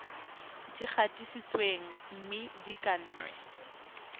di gatisitsweng mme di kannwe